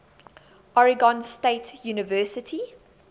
oregon state university